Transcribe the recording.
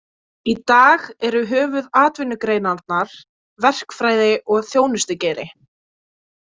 Í dag eru höfuðatvinnugreinarnar verkfræði og þjónustugeiri.